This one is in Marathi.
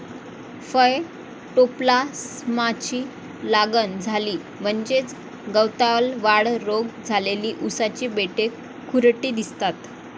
फयटोप्लास्माची लागण झाली म्हणजेच गवतालवाढ रोग झालेली उसाची बेटे खुरटी दिसतात.